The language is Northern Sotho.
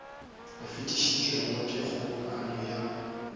o fetišitšwego ke kgobokano ya